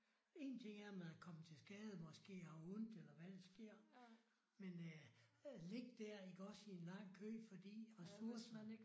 Én ting er man er kommet til skade måske har ondt eller hvad der sker men at ligge der iggås i en lang kø fordi ressourcer